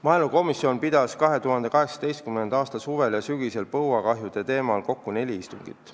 Maaelukomisjon pidas 2018. aasta suvel ja sügisel põuakahjude teemal kokku neli istungit.